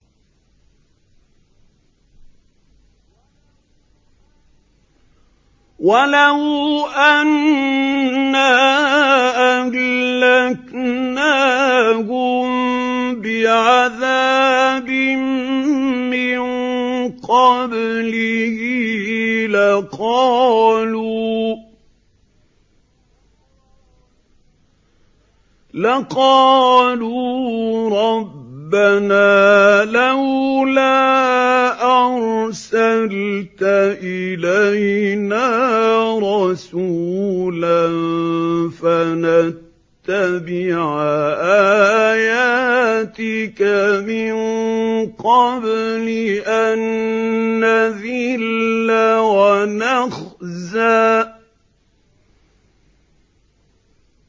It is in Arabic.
وَلَوْ أَنَّا أَهْلَكْنَاهُم بِعَذَابٍ مِّن قَبْلِهِ لَقَالُوا رَبَّنَا لَوْلَا أَرْسَلْتَ إِلَيْنَا رَسُولًا فَنَتَّبِعَ آيَاتِكَ مِن قَبْلِ أَن نَّذِلَّ وَنَخْزَىٰ